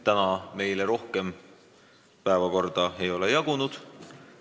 Tänaseks meile rohkem päevakorda ei ole jagunud.